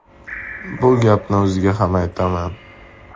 Bu gapni o‘ziga ham aytaman.